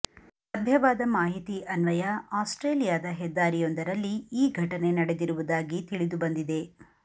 ಲಭ್ಯವಾದ ಮನಾಹಿತಿ ಅನ್ವಯ ಆಸ್ಟ್ರೇಲಿಯಾದ ಹೆದ್ದಾರಿಯೊಂದರಲ್ಲಿ ಈ ಘಟನೆ ನಡೆದಿರುವುದಾಗಿ ತಿಳಿದು ಬಂದಿದೆ